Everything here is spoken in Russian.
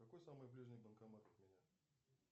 какой самый ближний банкомат от меня